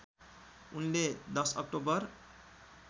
उनले १० अक्टोबर